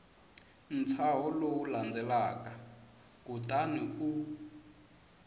ntshaho lowu landzelaka kutani u